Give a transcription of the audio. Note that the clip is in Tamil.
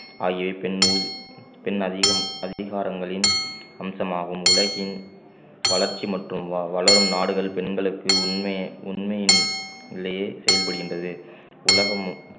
ஆகியவை பெண்ணு பெண் அதிகம் அதிகாரங்களின் அம்சமாகும் உலகின் வளர்ச்சி மற்றும் வ~ வளரும் நாடுகள் பெண்களுக்கு உண்மை~ உண்மையின் நிலையை செயல்படுகின்றது உலகமும்